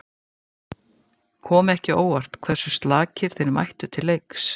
Kom ekki á óvart hversu slakir þeir mættu til leiks?